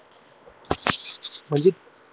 म्हणजे